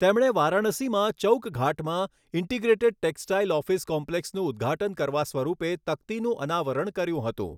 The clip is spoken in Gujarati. તેમણે વારાણસીમાં ચૌકઘાટમાં ઇન્ટિગ્રેટેડ ટેક્સટાઇલ ઓફિસ કોમ્પ્લેક્સનું ઉદ્ઘાટન કરવા સ્વરૂપે તકતીનું અનાવરણ કર્યું હતું.